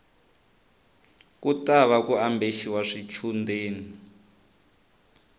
ku tava ku ambexiwa swichundeni